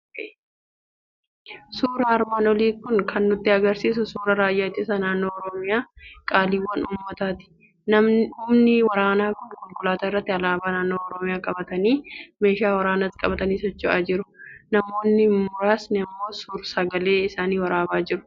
Suurri armaan olii kan nutti argisiisu suuraa raayyaa ittisa Naannoo Oromiyaa, qaaliiwwan uummataati. Humni waraanaa kun konkolaataa irratti alaabaa naannoo Oromiyaa qabatanii, meeshaa waraanaas qabatanii socho'aa jiru. Namoonni muraasni immoo suur-sagalee isaan waraabaa jiru.